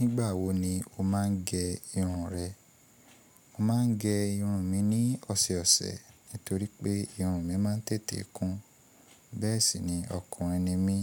Nígbà wo ni o máà ń gẹ irun rẹ? Mo máà ń gẹ irun mi ní ọ̀sẹ̀ ọ̀sẹ̀ nítorí pé irun mi máà ń tètè kún. Bẹ́ẹ̀ sì ni ọkùnrin ni mí,